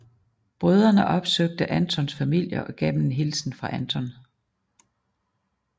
Brødrene opsøgte Antons familie og gav dem en hilsen fra Anton